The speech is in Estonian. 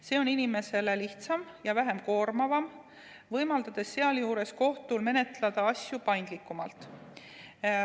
See on inimesele lihtsam ja vähem koormav, võimaldades sealjuures kohtul menetleda asju paindlikumalt.